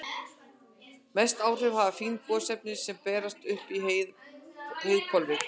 Mest áhrif hafa fín gosefni sem berast upp í heiðhvolfið.